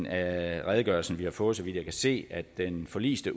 af redegørelsen vi har fået så vidt jeg kan se at den forliste